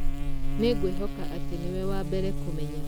Nĩ ngwĩhoka atĩ nĩ we wa mbere kũmenya.